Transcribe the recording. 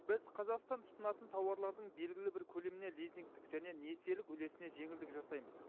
біз қазақстан тұтынатын тауарлардың белгілі бір көлеміне лизингтік және несиелік үлесіне жеңілдік жасаймыз